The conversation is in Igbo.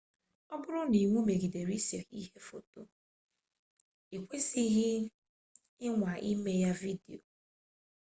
ọ bụrụ na iwu megidere ise ihe foto ikwesidighi ịnwa ime ya vidio